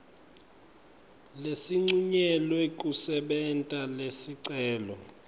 lesincunyelwe kusebenta lesicelo